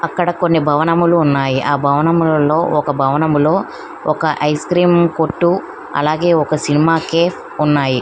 ఇక్కడ భావనలు ఉన్నాయ్ ఇక్కడ ఐస్ క్రీమ్ లో ఉన్నాయ్ ఒక భవనములో ఒక ఐస్ క్రీమ్ కొట్టు ఉంది.